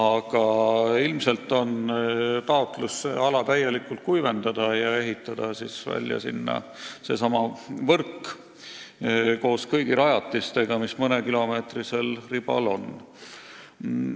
Nüüd ilmselt on taotlus ala täielikult kuivendada ja ehitada seal välja seesama võrk koos kõigi rajatistega, mis mõnekilomeetrisel katseribal on.